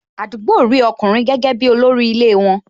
Àdúgbò rí ọkùnrin gẹ́gẹ́ bi olórí ilé won